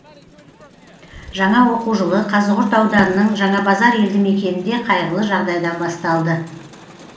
жаңа оқу жылы қазығұрт ауданының жаңабазар елді мекенінде қайғылы жағдайдан басталды